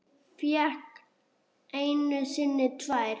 Fékk einu sinni tvær.